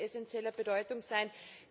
Das wird von essenzieller Bedeutung sein.